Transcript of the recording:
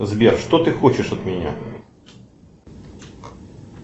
сбер что ты хочешь от меня